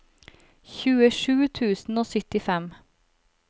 tjuesju tusen og syttifem